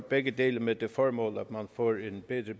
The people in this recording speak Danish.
begge dele med det formål at man får en bedre